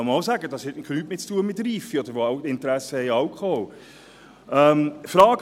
Hier kann man auch sagen, dass es nichts mit Reife zu tun hat; oder solche, die Interesse an Alkohol haben.